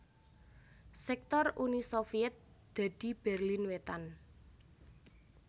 Sektor Uni Sovyèt dadi Berlin Wétan